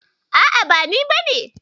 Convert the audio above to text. A'a ba ni bane ba.